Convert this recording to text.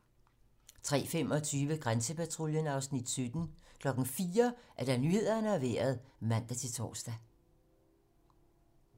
03:25: Grænsepatruljen (Afs. 17) 04:00: Nyhederne og Vejret (man-tor)